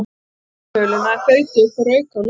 Hann datt í mölina en þaut upp og rauk á Lillu.